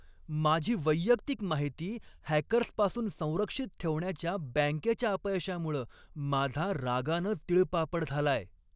माझी वैयक्तिक माहिती हॅकर्सपासून संरक्षित ठेवण्याच्या बँकेच्या अपयशामुळं माझा रागानं तिळपापड झालाय.